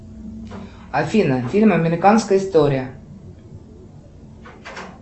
афина фильм американская история